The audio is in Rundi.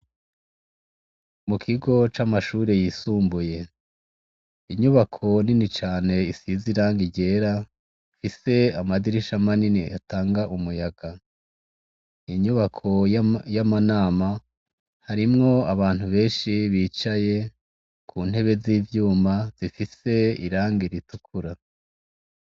Mu kigo c' amashure y' isumbuye, inyubako nini can' isiz' irangi ryer' ifis' amadirisha manin' atang' umuyaga, inyubako yamanama harimw' abantu benshi bicaye kuntebe z' ivyuma zifis' irangi ritukura.